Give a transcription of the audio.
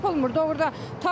Yəni tapılmır.